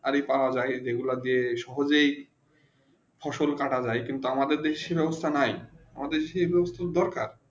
গাড়ি পৰা যায় যে গুলু সহজে ফসল কাটা যায় কিন্তু আমাদের দেশে সেই অবস্থা নেই আমাদের দেশে এই বস্তু দরকার